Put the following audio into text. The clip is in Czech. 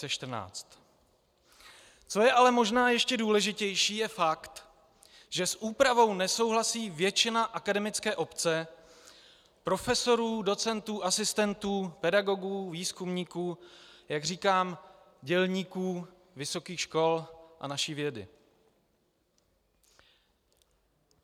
Co je ale možná ještě důležitější, je fakt, že s úpravou nesouhlasí většina akademické obce, profesorů, docentů, asistentů, pedagogů, výzkumníků, jak říkám, dělníků vysokých škol a naší vědy.